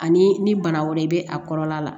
Ani ni bana wɛrɛ bɛ a kɔlɔlɔ la